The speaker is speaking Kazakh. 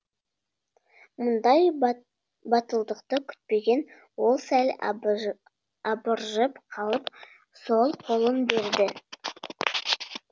мұндай батылдықты күтпеген ол сәл абыржып қалып сол қолын берді